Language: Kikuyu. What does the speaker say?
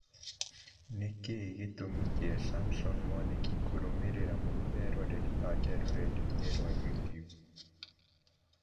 Nĩkĩĩ gĩtũmi kĩa Samson Mwanĩki kũrũmĩrĩra mũno eroreri ake rũrenda-inĩ rwa youtube